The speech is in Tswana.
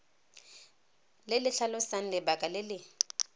le tlhalosang lebaka le le